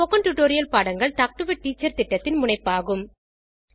spoken tutorial பாடங்கள் talk to a teacher திட்டத்தின் முனைப்பாகும்